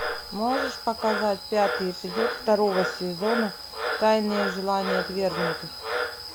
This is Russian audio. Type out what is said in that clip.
можешь показать пятый эпизод второго сезона тайные желания отвергнутых